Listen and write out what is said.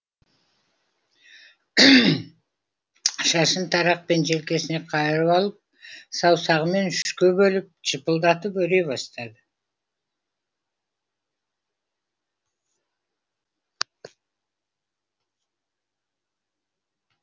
шашын тарақпен желкесіне қайырып алып саусағымен үшке бөліп жыпылдатып өре бастады